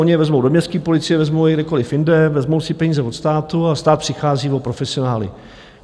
Oni je vezmou do městské policie, vezmou je kdekoliv jinde, vezmou si peníze od státu a stát přichází o profesionály.